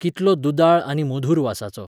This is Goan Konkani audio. कितलो दुदाळ आनी मधूर वासाचो!